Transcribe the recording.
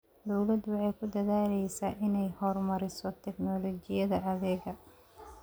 Dawladdu waxay ku dadaalaysaa inay horumariso tignoolajiyada adeegga.